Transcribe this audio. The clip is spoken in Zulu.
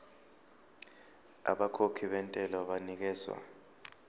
abakhokhi bentela banikezwa